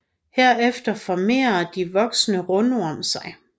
Herefter formerer de voksne rundorm sig